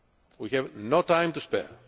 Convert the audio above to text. We have no time to spare.